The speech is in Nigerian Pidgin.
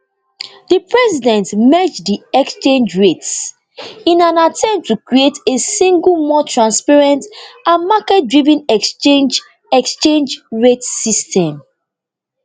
di president merge di exchange rates in an attempt to create a single more transparent and marketdriven exchange exchange rate system